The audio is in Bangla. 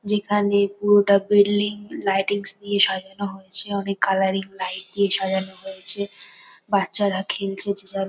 যেখানে পুরোটা বিল্ডিং লাইটিংস দিয়ে সাজানো হয়েছে অনেক কালারিং লাইট দিয়ে সাজানো হয়েছে। বাচ্চারা খেলছে যে যার--